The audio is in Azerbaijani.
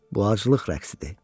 Bu acılıq rəqsidir.